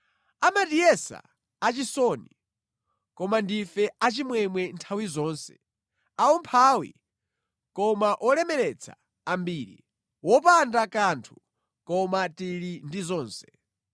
Amatiyesa achisoni, koma ndife achimwemwe nthawi zonse, aumphawi, koma olemeretsa ambiri; wopanda kanthu, koma tili ndi zonse.